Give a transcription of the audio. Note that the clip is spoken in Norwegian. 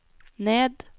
ned